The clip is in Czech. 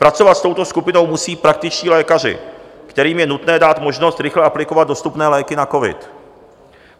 Pracovat s touto skupinou musí praktičtí lékaři, kterým je nutné dát možnost rychle aplikovat dostupné léky na covid.